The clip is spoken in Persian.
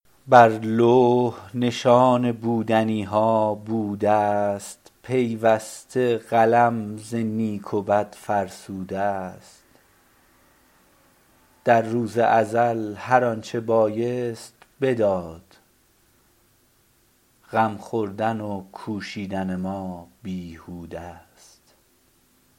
بر لوح نشان بودنی ها بوده است پیوسته قلم ز نیک و بد فرسوده است در روز ازل هر آنچه بایست بداد غم خوردن و کوشیدن ما بیهوده است